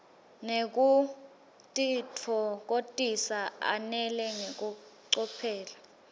nekutitfokotisa ananele ngekucophelela